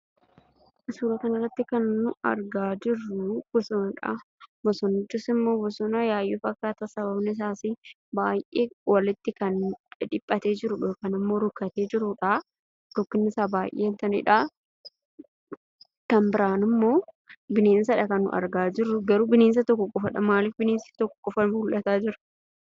Suura kana irratti kan argaa jirru bosonadha. Bosonichis ammoo bosona Yaayyoo fakkaata. Sababni isaan baay'ee kan walitti dhidhiphatee jiru yookaan ammo rukkatee jirudha. Kan biraan ammoo bineensadha kan argaa jirru. Garuu bineensa tokko qofadha. Maaliif bineensi tokko qofaan mul'ataa jira?